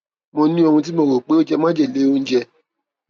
mo ní ohun tí mo rò pé ó jẹ májèlé oúnjẹ